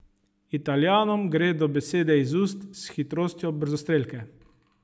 Italijanom gredo besede iz ust s hitrostjo brzostrelke.